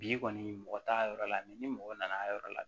Bi kɔni mɔgɔ t'a yɔrɔ la ni mɔgɔ nana a yɔrɔ la